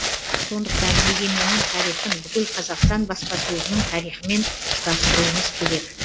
сондықтан егеменнің тарихын бүкіл қазақстан баспасөзінің тарихымен ұштастыруымыз керек